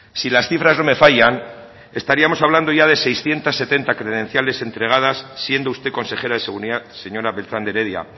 si las cifras no me fallan estaríamos hablando ya de seiscientos setenta credenciales entregadas siendo usted consejera de seguridad señora beltrán de heredia